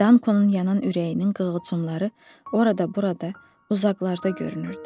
Dankonun yanan ürəyinin qığılcımları orada-burada, uzaqlarda görünürdü.